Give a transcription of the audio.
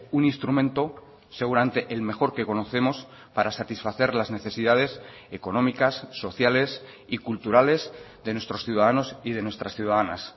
un instrumento seguramente el mejor que conocemos para satisfacer las necesidades económicas sociales y culturales de nuestros ciudadanos y de nuestras ciudadanas